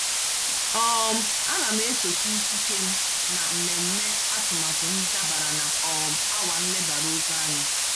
um Ana m esochi ikike m na mmemme atụmatụ m dabara na um awa nlebara oke anya.